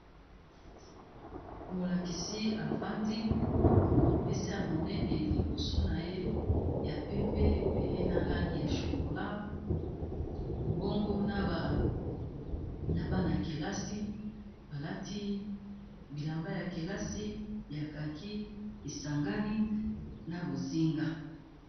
Molakisi avandi mesa ya monene liboso na ye ya pembe pe na langi ya chokola bongo na bana kelasi balati bilamba ya kelasi ya kaki esangani na bozinga.